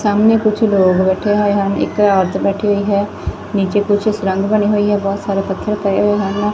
ਸਾਹਮਣੇ ਕੁਛ ਲੋਗ ਬੈਠੇ ਹੋਏ ਹਨ ਇਕ ਔਰਤ ਬੈਠੀ ਹੋਈ ਹੈ ਨੀਚੇ ਕੁਛ ਸੁਰੰਗ ਬਣੀ ਹੋਈ ਹੈ ਨੀਚੇ ਬਹੁਤ ਸਾਰੇ ਪੱਥਰ ਪੋਏ ਹੋਏ ਹਨ।